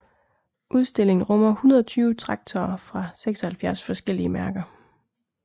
Udstillingen rummer 120 traktorer fra 76 forskellige mærker